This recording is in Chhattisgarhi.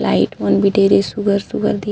लाइट मन भी ढेरे सुघर सुघर --